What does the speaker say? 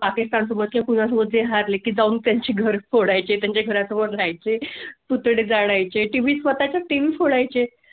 पाकिस्तान सोबत पूजा बोलते हा लेकी जाऊन त्यांचे घर खोडायचे, त्यांच्या पडाय चे तुकडे झाडा चे TV स्वतः च्या पाकिस्ता फुलाय चे